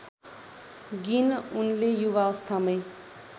गीन उनले युवावस्थामै